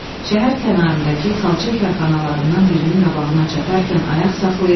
Şəhər kənarındakı xalça karxanalarından birinin qabağına çatarkən ayaq saxlayır.